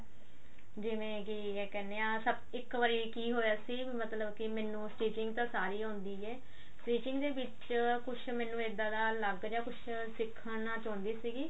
ਜਿਵੇਂ ਕੀ ਕਹਿੰਦੇ ਆ ਇੱਕ ਵਾਰੀ ਕੀ ਹੋਇਆ ਸੀ ਵੀ ਮੈਨੂੰ stitching ਤਾਂ ਸਾਰੀ ਆਉਂਦੀ ਆ stitching ਦੇ ਵਿੱਚ ਕੁੱਝ ਮੈਨੂੰ ਇੱਦਾਂ ਦਾ ਲੱਗ ਰਿਹਾ ਕੁਝ ਸਿੱਖਣਾ ਚਾਹੁੰਦੀ ਸੀਗੀ